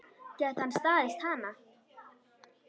Gæti hann staðist hana?